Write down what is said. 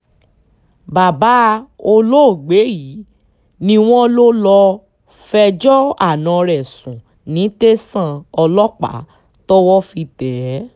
bàbá olóògbé yìí ni wọ́n lọ lọ́ọ́ fẹjọ́ àna ẹ̀ sùn ní tẹ̀sán ọlọ́pàá tọ́wọ́ fi tẹ̀ ẹ́